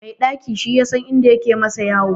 Mai ɗaki shi yasan inda yake masa yoyo.